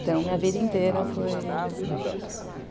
Então, minha vida inteira foi... Duas casas.